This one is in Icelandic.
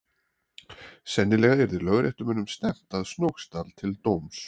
Sennilega yrði lögréttumönnum stefnt að Snóksdal til dóms.